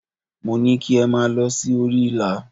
Mo ní kí ẹ máa lọ sí orí ìlà.!